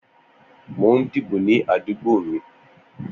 Mó n dibó ni àdúgbó mi